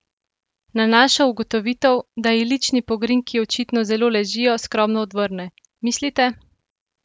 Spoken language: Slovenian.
Na našo ugotovitev, da ji lični pogrinjki očitno zelo "ležijo", skromno odvrne: "Mislite?